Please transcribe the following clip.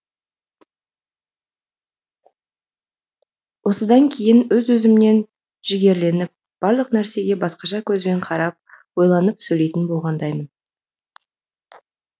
осыдан кейін өз өзімнен жігерленіп барлық нәрсеге басқаша көзбен қарап ойланып сөйлейтін болғандаймын